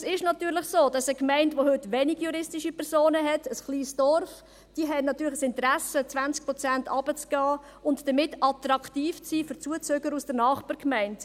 Es ist natürlich so, dass eine Gemeinde, welche wenig juristische Personen hat – ein kleines Dorf –, das Interesse hat, um 20 Prozent hinunterzugehen und damit attraktiv zu sein für Zuziehende aus der Nachbargemeinde.